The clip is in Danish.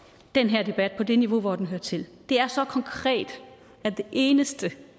den her debat på det niveau hvor den hører til det er så konkret at det eneste